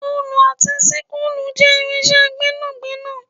oolu ati ṣisulu je irinṣẹ gbénàgbénà